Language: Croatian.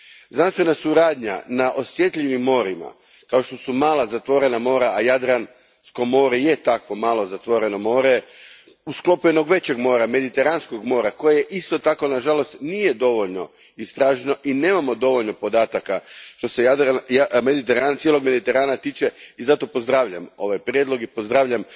Znanstvena suradnja na osjetljivim morima kao što su mala zatvorena mora, a Jadransko more je takvo malo, zatvoreno more, u sklopu jednog većeg mora, Mediteranskog mora, koje isto tako na žalost nije dovoljno istraženo i nemamo dovoljno podataka što se cijelog Mediterana tiče te zato pozdravljam ovaj prijedlog i pozdravljam